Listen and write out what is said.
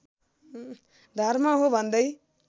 धर्म हो भन्दै